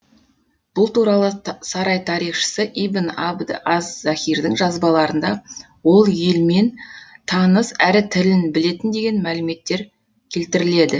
бұл туралы сарай тарихшысы ибн абд аз захирдің жазбаларында ол елмен таныс әрі тілін білетін деген мәліметтер келтіріледі